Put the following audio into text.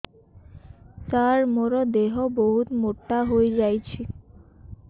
ସାର ମୋର ଦେହ ବହୁତ ମୋଟା ହୋଇଯାଉଛି